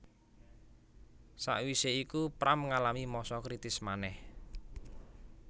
Sakwisé iku Pram ngalami masa kritis manèh